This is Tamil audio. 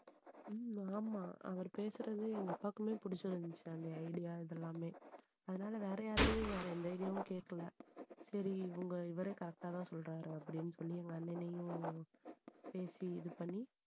உம் ஆமா அவர் பேசுறது எங்க அப்பாக்குமே பிடிச்சிருந்துச்சு. அந்த idea இது எல்லாமே. அதனால வேற யார்கிட்டயும் வேற எந்த idea வும் கேட்கல. சரி உங்க இவரே correct ஆ தான் சொல்றாரு அப்படின்னு சொல்லி எங்க அண்ணனையும் பேசி இது பண்ணி